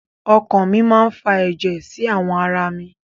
Ọkan mi máa fa ẹ̀jẹ̀ sí àwọn ara mi.